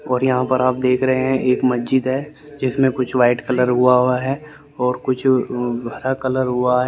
और यहां पर आप देख रहे हैं एक मस्जिद है जिसमें कुछ वाइट कलर हुआ है और कुछ हरा कलर हुआ --